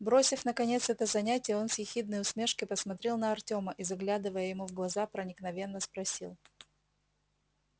бросив наконец это занятие он с ехидной усмешкой посмотрел на артема и заглядывая ему в глаза проникновенно спросил